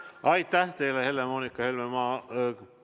Aitäh teile, Helle-Moonika Helme!